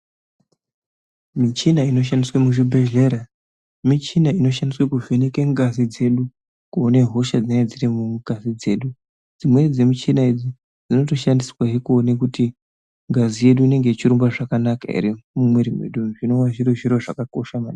Michina inoshandiswe muzvibhedhlera michina inoshandiswe kuvheneke ngazi dzedu kuone hosha dzinenge dziri mungazi dzedu dzimweni dzemichina idzi dzinotoshandiswehe kuti ngazi yedu inenge ichirumbe zvakanaka ere mumwiri mwedumwu zvinova zviri zviro zvakakosha maningi .